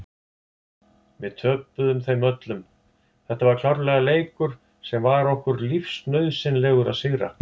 Við töpuðum þeim öllum, þetta var klárlega leikur sem var okkur lífsnauðsynlegur að sigra.